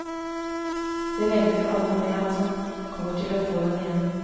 Vi regner alle med at han kommer til å få den igjen.